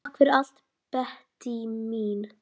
Takk fyrir allt, Bettý mín.